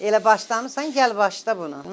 Elə başlamısan, gəl başla bunu.